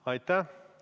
Aitäh!